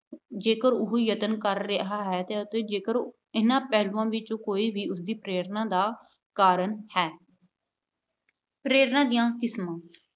ਜੇਕਰ ਉਹ ਯਤਨ ਕਰ ਰਿਹਾ ਹੈ ਅਤੇ ਜੇਕਰ ਇਹਨਾਂ ਪਹਿਲੂਆਂ ਵਿੱਚੋਂ ਕੋਈ ਵੀ ਉਸਦੀ ਪ੍ਰੇਰਨਾ ਦਾ ਕਾਰਨ ਹੈ। ਪ੍ਰੇਰਨਾ ਦੀਆਂ ਕਿਸਮਾਂ